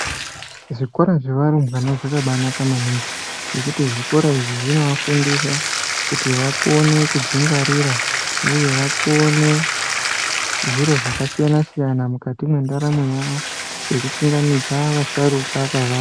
Zvikora zvevarumbwana zvakabaanaka maningi ngekuti zvikora izvi zvinovafundisa kuti vakone kudzingwarira uye kuti vakone zviro zvakasiyana siyana mukati mwendaramo yavo sokuchingamidza vasharuka kwava.